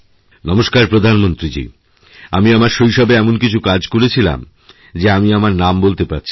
নমস্কার প্রধানমন্ত্রীজী আমিআমার শৈশবে এমন কিছু কাজ করেছিলাম যে আমি আমার নাম বলতে পারছি না